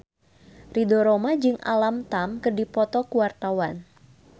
Ridho Roma jeung Alam Tam keur dipoto ku wartawan